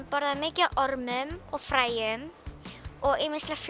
borðar er mikið af ormum og fræjum og